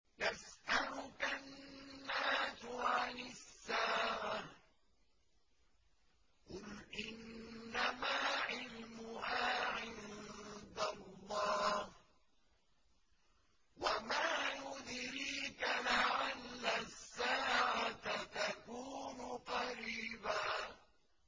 يَسْأَلُكَ النَّاسُ عَنِ السَّاعَةِ ۖ قُلْ إِنَّمَا عِلْمُهَا عِندَ اللَّهِ ۚ وَمَا يُدْرِيكَ لَعَلَّ السَّاعَةَ تَكُونُ قَرِيبًا